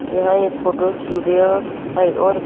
यह एक photo studio है और--